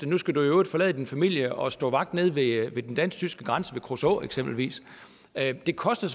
nu skal du i øvrigt forlade din familie og stå vagt nede ved den dansk tyske grænse ved kruså eksempelvis det koster